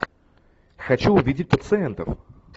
хочу увидеть пациентов